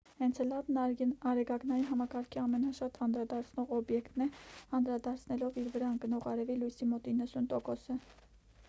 էնցելադն արեգակնային համակարգի ամենաշատ անդրադարձնող օբյեկտն է անդրադարձնելով իր վրա ընկնող արևի լույսի մոտ 90 տոկոսը